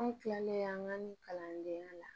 An tilalen an ka kalandenya la